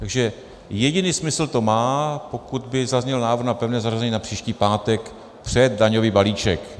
Takže jediný smysl to má, pokud by zazněl návrh na pevné zařazení na příští pátek před daňový balíček.